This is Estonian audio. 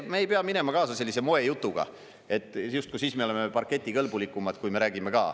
Me ei pea minema kaasa sellise moejutuga, et justkui siis me oleme parketikõlbulikumad, kui me räägime ka.